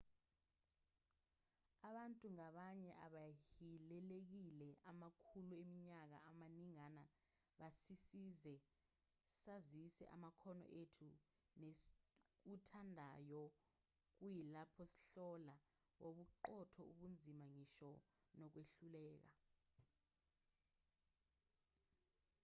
abantu ngabanye abahilelekile amakhulu eminyaka amaningana basisize sazise amakhono ethu nesikuthandayo kuyilapho sihlola bobuqotho ubunzima ngisho nokwehluleka